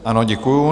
Ano, děkuji.